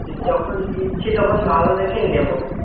যখন নিচ্ছি তখন ভালো দেখে নেব